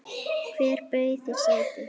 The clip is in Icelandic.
Hver bauð þér sæti?